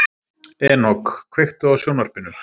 Enok, kveiktu á sjónvarpinu.